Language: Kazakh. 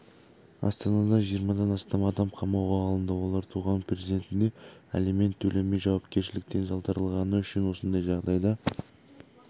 астанада жиырмадан астам адам қамауға алынды олар туған перзентіне алимент төлемей жауапкершіліктен жалтарғаны үшін осындай жағдайға